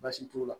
Baasi t'o la